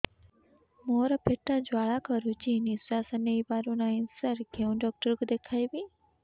ମୋର ପେଟ ଜ୍ୱାଳା କରୁଛି ନିଶ୍ୱାସ ନେଇ ପାରୁନାହିଁ ସାର କେଉଁ ଡକ୍ଟର କୁ ଦେଖାଇବି